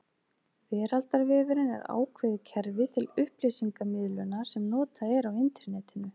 Veraldarvefurinn er ákveðið kerfi til upplýsingamiðlunar sem notað er á Internetinu.